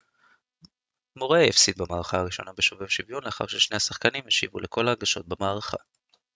מוריי הפסיד במערכה הראשונה בשובר שוויון לאחר ששני השחקנים השיבו לכל ההגשות במערכה